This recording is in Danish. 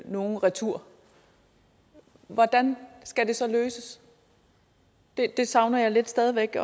nogle retur hvordan skal det så løses det savner jeg stadig væk